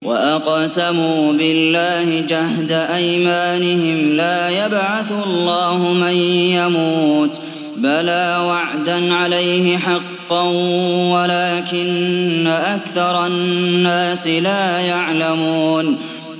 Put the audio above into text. وَأَقْسَمُوا بِاللَّهِ جَهْدَ أَيْمَانِهِمْ ۙ لَا يَبْعَثُ اللَّهُ مَن يَمُوتُ ۚ بَلَىٰ وَعْدًا عَلَيْهِ حَقًّا وَلَٰكِنَّ أَكْثَرَ النَّاسِ لَا يَعْلَمُونَ